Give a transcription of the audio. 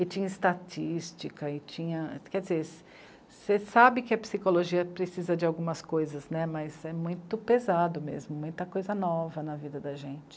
E tinha estatística e tinha, quer dizer, você sabe que a psicologia precisa de algumas coisas né, mas é muito pesado mesmo, muita coisa nova na vida da gente.